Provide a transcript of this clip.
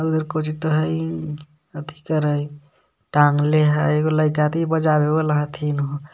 उधर कोजितो है टांगले है एगो लइका थी बजावे वाला हथीन.